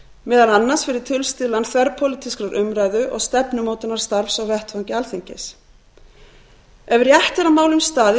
meðal annars fyrir tilstuðlan þverpólitískrar umræðu og stefnumótunarstarfs á vettvangi alþingis ef rétt er að málum staðið